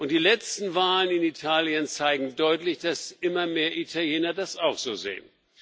Die letzten Wahlen in Italien zeigen deutlich, dass immer mehr Italiener das auch so sehen.